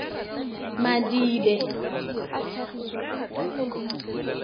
madibe